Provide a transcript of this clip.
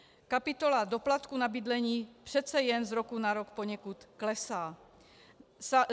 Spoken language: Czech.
Kapitola doplatku na bydlení přece jen z roku na rok poněkud klesá.